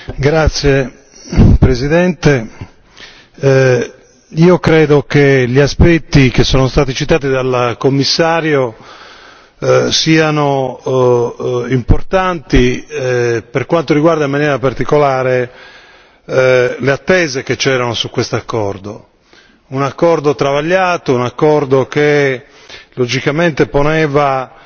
Signora Presidente, onorevoli colleghi, credo che gli aspetti che sono stati citati dal Commissario siano importanti, per quanto riguarda in maniera particolare le attese che c'erano su questo accordo. Un accordo travagliato, un accordo che logicamente poneva